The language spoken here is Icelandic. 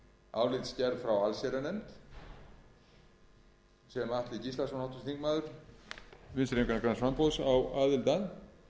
álitsgerð frá allsherjarnefnd sem atli gíslason háttvirtur þingmaður vinstri hreyfingarinnar græns framboðs á aðild að